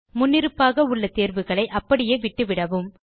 முன்னிருப்பாக உள்ள தேர்வுகளை அப்படியே விட்டுவிடவும்